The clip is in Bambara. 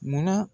Munna